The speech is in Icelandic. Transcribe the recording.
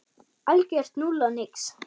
Algjört núll og nix.